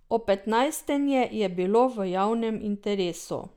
Opetnajstenje je bilo v javnem interesu.